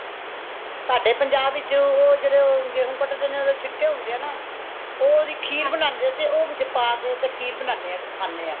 ਸਾਡੇ ਪੰਜਾਬ ਵਿੱਚ ਉਹ ਜੇੜੇ ਉਹ ਗੇਹੁ ਕਟਦੇ ਨੇ ਓਦੇ ਛਿਟੇ ਹੋਂਦੇ ਹੈ ਨਾ ਉਹ ਓਦੀ ਖੀਰ ਬਣਾਂਦੇ ਤੇ ਉਹ ਵਿੱਚ ਪਾ ਕੇ ਤੇ ਖੀਰ ਬਣਾਂਦੇ ਹਾਂ ਤੇ ਖਾਂਦੇ ਹਾਂ